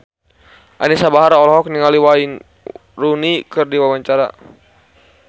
Anisa Bahar olohok ningali Wayne Rooney keur diwawancara